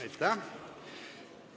Aitäh!